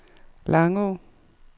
Langå